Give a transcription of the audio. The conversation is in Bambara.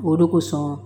O de kosɔn